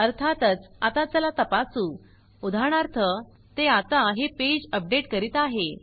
अर्थातच आता चला तपासू उदाहरणार्थ ते आता हे पेज अपडेट करीत आहे